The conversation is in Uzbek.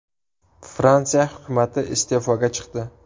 Fransiya hukumati iste’foga chiqdi.